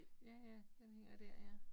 Ja ja den hænger dér ja